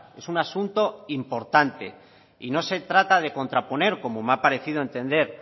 es un asunto importante y no se trata de contraponer como me ha parecido entender